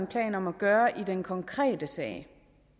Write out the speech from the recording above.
planer om at gøre i den konkrete sag